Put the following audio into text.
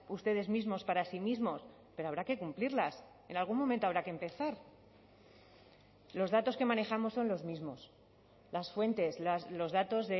ustedes mismos para sí mismos pero habrá que cumplirlas en algún momento habrá que empezar los datos que manejamos son los mismos las fuentes los datos